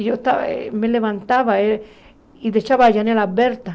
E eu estava me levantava e deixava a janela aberta.